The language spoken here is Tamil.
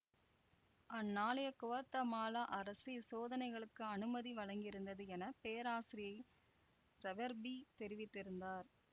அந்நாளைய குவாத்தமாலா அரசு இச்சோதனைகளுக்கு அனுமதி வழங்கியிருந்தது என பேராசிரியை ரெவெர்பி தெரிவித்திருந்தார்